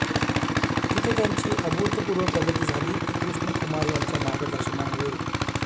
तिथे त्यांची अभूतपूर्व प्रगती झाली ती कृष्णकुमार यांच्या मार्गदर्शनामुळे